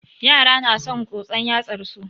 Yara na son tsotson yatsar su.